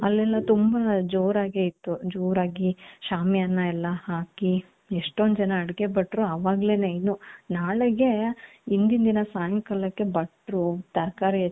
ಅಲ್ಲಿನು ತುಂಬಾ ಜೋರಾಗೆ ಇತ್ತು ಜೋರಾಗಿ ಶಾಮಿಯಾನ ಎಲ್ಲಾ ಹಾಕಿ ಎಷ್ಟೊಂದ್ ಜನ ಅಡುಗೆ ಭಟ್ರು ಅವಾಗ್ಲೇನೆ ಇನ್ನೂ ನಾಳೆಗೆ ಹಿಂದಿನ ದಿನ ಸಾಯಂಕಾಲ ಭಟ್ರು ತರಕಾರಿ